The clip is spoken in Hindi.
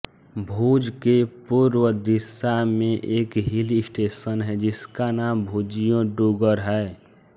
भुज के पूर्व दिशा में एक हिल स्टेशन है जिसका नाम भुजियो डूगर् है